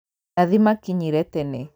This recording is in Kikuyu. Nathi makinyire tene